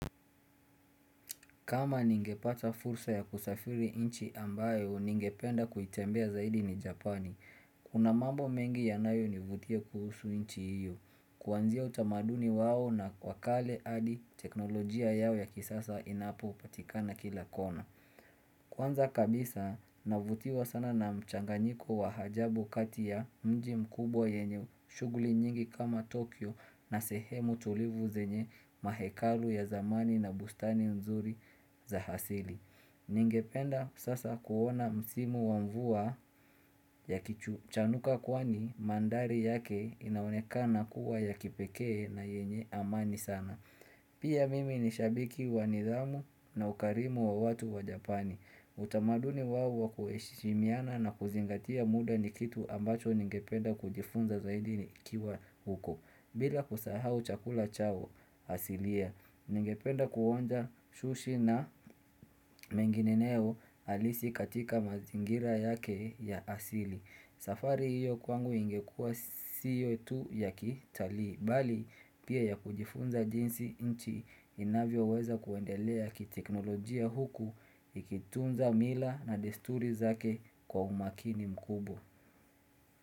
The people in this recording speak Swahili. Kama ningepata fursa ya kusafiri nchi ambayo ningependa kuitembelea zaidi ni Japani, kuna mambo mengi yanayo nivutia kuhusu nchi hiyo, kuanzia utamaduni wao na wakale hadi teknolojia yao ya kisasa inayopatikana kila kona. Kwanza kabisa navutiwa sana na mchanganyiko wa ajabu kati ya mji mkubwa yenye shuguli nyingi kama Tokyo na sehemu tulivu zenye mahekalu ya zamani na bustani nzuri za asili. Ningependa sasa kuona msimu wa mvua yakichanuka kwani mandhari yake inaoneka na kuwa ya kipekee na yenye amani sana. Pia mimi nishabiki wa nidhamu na ukarimu wa watu wa Japani. Utamaduni wao kuheshimiana na kuzingatia muda nikitu ambacho ningependa kujifunza zaidi nikiwa huko. Bila kusahau chakula chao asilia, ningependa kuonja shushi na mengineyo halisi katika mazingira yake ya asili. Safari hiyo kwangu ingekua sio tu ya kitali, bali pia yakujifunza jinsi nchi inavyoweza kuendelea kiteknolojia huku ikitunza mila na desturi zake kwa umakini mkubwa.